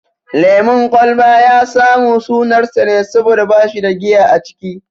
Lemun kwalba ya samu sunar sa ne saboda bashi da giya a ciki